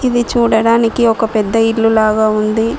ఇది చూడడానికి ఒక పెద్ద ఇల్లు లాగా ఉంది.